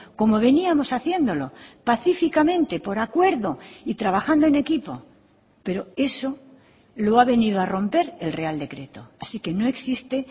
como veníamos haciéndolo pacíficamente por acuerdo y trabajando en equipo pero eso lo ha venido a romper el real decreto así que no existe